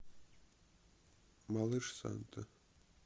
малыш санта